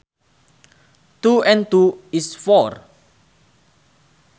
Two and two is four